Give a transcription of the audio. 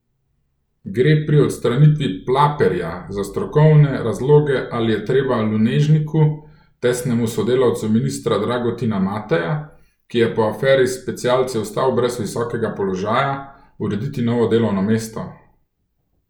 Gre pri odstranitvi Plaperja za strokovne razloge ali je treba Lunežniku, tesnemu sodelavcu ministra Dragutina Mateja, ki je po aferi s specialci ostal brez visokega položaja, urediti novo delovno mesto?